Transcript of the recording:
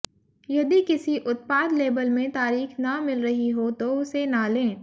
यदि किसी उत्पाद लेबल में तारीख न मिल रही हो तो उसे न लें